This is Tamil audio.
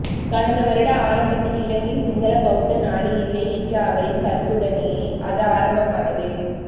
கடந்த வருட ஆரம்பத்தில் இலங்கை சிங்கள பௌத்த நாடு இல்லை என்ற அவரின் கருத்துடனேயே அது ஆரம்பமானது